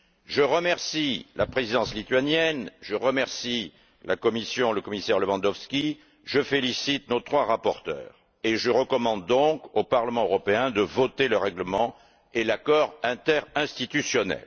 Je remercie la Présidence lituanienne, la Commission et le commissaire Lewandowski, je félicite nos trois rapporteurs et je recommande donc au Parlement européen de voter le règlement et l'accord interinstitutionnel.